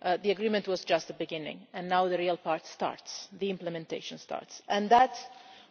start the agreement was just the beginning, and now the real part the implementation starts.